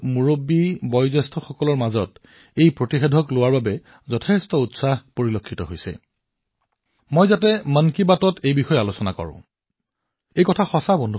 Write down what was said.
তেওঁ কৈছে যে ভেকছিনৰ বিষয়ে ঘৰৰ বয়সস্থ লোকসকলৰ ক্ষেত্ৰত দেখা উৎসাহৰ বিষয়ে মই মন কী বাতত আলোচনা কৰা উচিত